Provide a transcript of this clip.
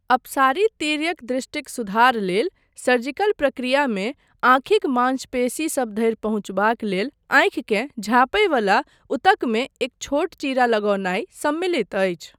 अपसारी तिर्यक दृष्टिक सुधार लेल सर्जिकल प्रक्रियामे आँखिक मांसपेशीसब धरि पहुँचबाक लेल आँखिकेँ झाँपय बला ऊतकमे एक छोट चीरा लगौनाइ सम्मिलित अछि।